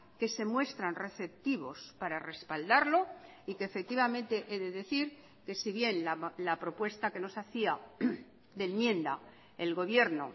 que se muestran receptivos para respaldarlo y que efectivamente he de decir que si bien la propuesta que nos hacía de enmienda el gobierno